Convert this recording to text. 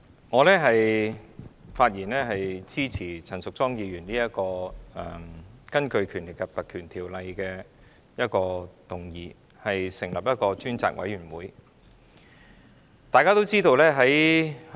代理主席，我發言支持陳淑莊議員根據《立法會條例》動議的議案，成立一個專責委員會。